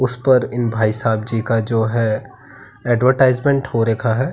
उसपर इन भाईसाहब जी का जो है अड्वर्टाइस्मेंट हो रखा है।